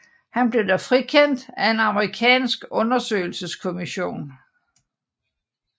Han blev dog frikendt af en amerikansk undersøgelseskommission